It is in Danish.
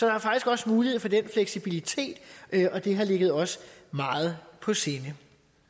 er faktisk også mulighed for den fleksibilitet og det har ligget os meget på sinde